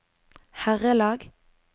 herrelag